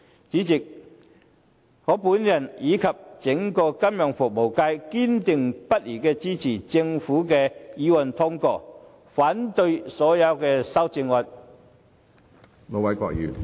主席，我和整個金融服務界堅定不移支持通過政府的議案，反對所有修正案。